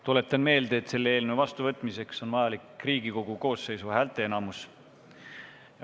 Tuletan meelde, et selle eelnõu vastuvõtmiseks on vajalik Riigikogu koosseisu häälteenamus.